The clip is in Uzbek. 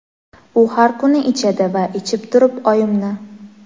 u har kuni ichadi va ichib turib oyimni.